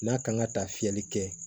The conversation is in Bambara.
N'a kan ka taa fiyɛli kɛ